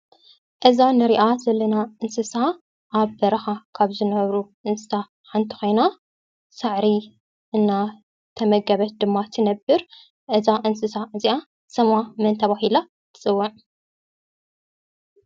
እዛ እንሪአ ዘለና እንስሳ አብ በረኻ ካብ ዝነብሩ እንስሳ ሓንቲ ኾይና፤ ሳዕሪ እናተመገበት ድማ ትነብር፡፡ እዛ እንስሳ እዚአ ስማ መን ተባሂላ ትፅዋዕ?